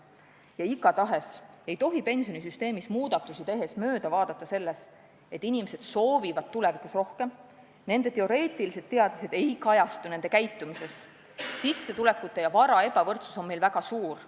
Ja mingil juhul ei tohi pensionisüsteemis muudatusi tehes mööda vaadata sellest, et inimesed soovivad tulevikus rohkem, aga nende teoreetilised teadmised ei kajastu nende käitumises, ja et sissetulekute ja kogu vara ebavõrdsus on meil väga suur.